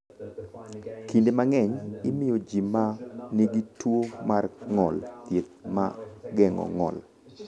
Kinde mang’eny, imiyo ji ma nigi tuwo mar ng’ol thieth ma geng’o ng’ol.